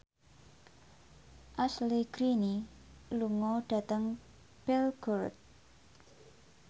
Ashley Greene lunga dhateng Belgorod